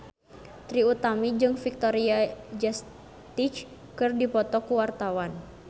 Trie Utami jeung Victoria Justice keur dipoto ku wartawan